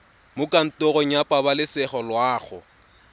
mo kantorong ya pabalesego loago